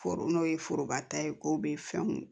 Foro n'o ye foroba ta ye ko be fɛnw